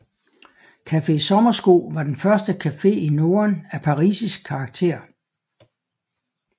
Café Sommersko var den første café i Norden af parisisk karakter